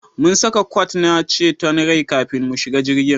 Mun saka kwat na ceton rai kafin mu shiga jirgin